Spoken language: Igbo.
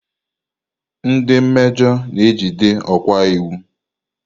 Ndị mejoo na ejide okwa iwu.